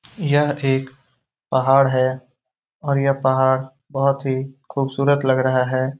यह एक पहाड़ है और यह पहाड़ बहुत ही खूबसूरत लग रहा है।